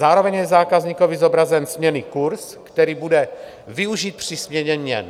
Zároveň je zákazníkovi zobrazen směnný kurz, který bude využit při směně měn.